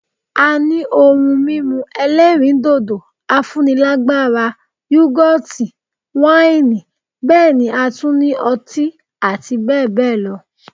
A ní ohun mímu ẹlẹ́rìndòdò, afúnilágbára, Yúgọ́ọ̀tì ,wáìnì bẹ́ẹ̀ ni a tún ní ọtí àti bẹẹ bẹẹ lọ